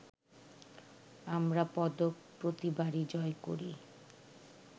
আমরা পদক প্রতিবারই জয় করি